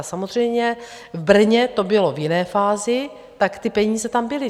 A samozřejmě v Brně to bylo v jiné fázi, tak ty peníze tam byly.